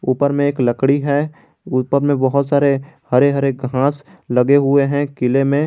ऊपर में एक लकड़ी है ऊपर में बहोत सारे हरे हरे घांस लगे हुए हैं किले में।